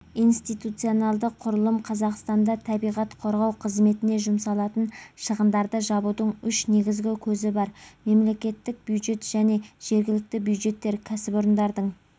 институционалдық құрылым қазақстанда табиғат қорғау қызметіне жұмсалатын шығындарды жабудың үш негізгі көзі бар мемлекеттік бюджет және жергілікті бюджеттер кәсіпорындардың